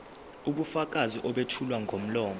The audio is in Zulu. ubufakazi obethulwa ngomlomo